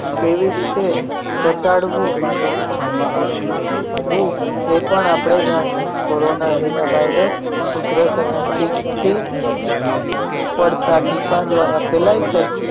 કેવી રીતે ઘટાડવું વુ એ પણ આપણે જાણીએ કોરોના જેવા વાયરસ ઉધરસ અને છીંકથી પડતા ટીપા દ્વારા ફેલાય છે